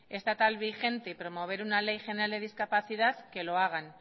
estatal vigente y promover una ley general de discapacidad que lo hagan